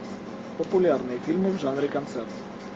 популярные фильмы в жанре концерт